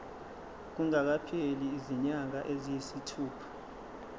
kungakapheli izinyanga eziyisithupha